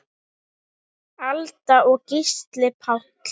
Alda og Gísli Páll.